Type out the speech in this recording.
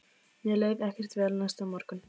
Mér leið ekkert vel næsta morgun.